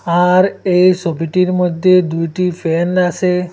আর এই ছবিটির মধ্যে দুইটি ফ্যান আছে।